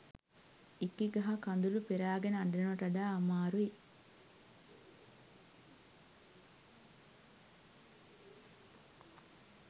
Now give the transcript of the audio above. ඉකිගගහ කදුලු පෙරාගෙන අඩනවට වඩා අමාරුයි